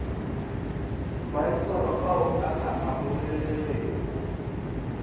maitshwaro ao a sa amogelegego